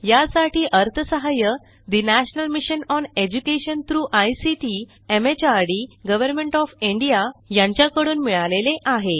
यासाठी अर्थसहाय्य national mission on education through ICT MHRD government of India यांच्याकडून मिळालेले आहे